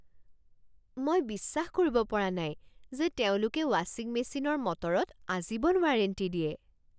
মই বিশ্বাস কৰিব পৰা নাই যে তেওঁলোকে ৱাচিং মেচিনৰ মটৰত আজীৱন ৱাৰেণ্টি দিয়ে।